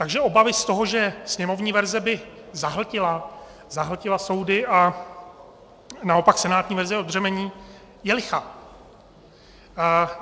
Takže obava z toho, že sněmovní verze by zahltila soudy a naopak senátní verze je odbřemení, je lichá.